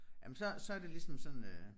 Jamen så så det ligesom sådan øh